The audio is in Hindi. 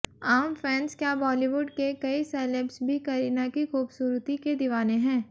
आम फैंस क्या बॉलीवुड के कई सेलेब्स भी करीना की खूबसूरती के दीवाने हैं